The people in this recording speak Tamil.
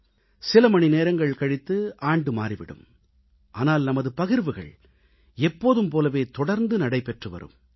இன்னும் சில மணி நேரங்கள் கழித்து ஆண்டு மாறி விடும் ஆனால் நமது பகிர்வுகள் எப்போதும் போலவே தொடர்ந்து நடைபெற்று வரும்